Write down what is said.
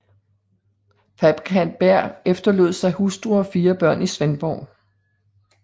Fabrikant Berg efterlod sig hustru og fire børn i Svendborg